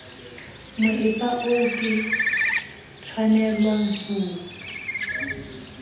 moepa oo ke tshwanelwang ho